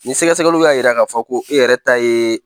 Ni sɛgɛsɛgɛluw y'a yira k'a fɔ ko e yɛrɛ ta yee